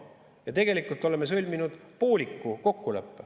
Ja tegelikult oleme sõlminud pooliku kokkuleppe.